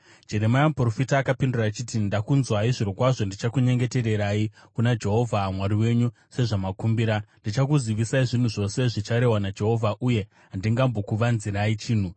Jeremia muprofita akapindura achiti, “Ndakunzwai. Zvirokwazvo ndichakunyengetererai kuna Jehovha Mwari wenyu sezvamakumbira, ndichakuzivisai zvinhu zvose zvicharehwa naJehovha uye handingambokuvanzirai chinhu.”